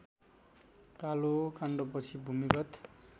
कालो काण्डपछि भूमिगत